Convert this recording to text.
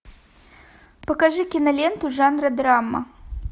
покажи киноленту жанра драма